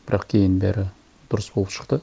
бірақ кейін бәрі дұрыс болып шықты